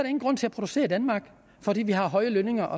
ingen grund til at producere i danmark fordi vi har høje lønninger